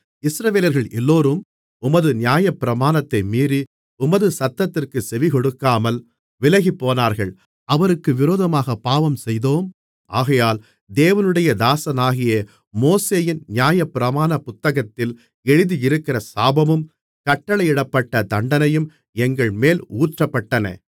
இஸ்ரவேலர்கள் எல்லோரும் உமது நியாயப்பிரமாணத்தை மீறி உமது சத்தத்திற்குச் செவிகொடுக்காமல் விலகிப்போனார்கள் அவருக்கு விரோதமாகப் பாவஞ்செய்தோம் ஆகையால் தேவனுடைய தாசனாகிய மோசேயின் நியாயப்பிரமாணப் புத்தகத்தில் எழுதியிருக்கிற சாபமும் கட்டளையிடப்பட்ட தண்டனையும் எங்கள்மேல் ஊற்றப்பட்டன